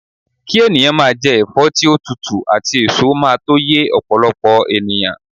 ki eniyan maa je efo ti o tutu ati eso maa to ye opolopo eniyan